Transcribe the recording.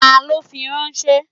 Ta ló fi ránṣẹ́?